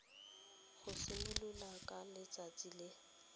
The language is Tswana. go simolola ka letsatsi le